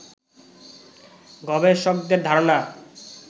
গবেষকদের ধারণা